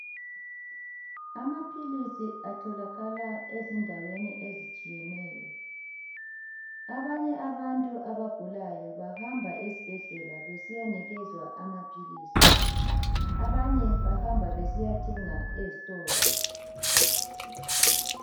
Amaphilisi atholakala ezindaweni ezitshiyeneyo, abanye abantu abagulayo bahamba esibhedlela besiyanikezwa amaphilisi, abanye bahamba besiyathenga ezitolo.